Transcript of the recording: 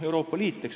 Euroopa Liit.